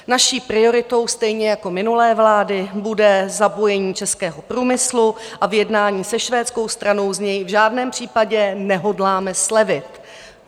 Naší prioritou stejně jako minulé vlády bude zapojení českého průmyslu a v jednání se švédskou stranou z něj v žádném případě nehodláme slevit.